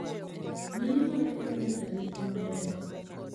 Mine mapek nyaka rit maber.